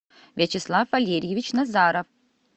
вячеслав валерьевич назаров